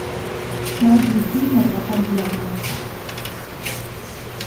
найди фильм адвокат дьявола